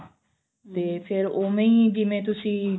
ਤੇ ਫਿਰ ਉਵੇਂ ਹੀ ਜਿਵੇਂ ਤੁਸੀਂ